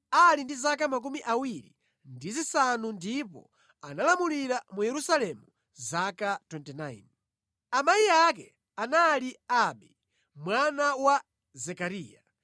Anakhala mfumu ali ndi zaka 25 ndipo analamulira mu Yerusalemu zaka 29. Amayi ake anali Abi, mwana wa Zekariya.